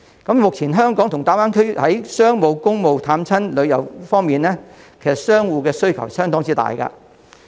目前，香港和大灣區在商務、公務、探親和旅遊方面，其實商戶的需求相當大。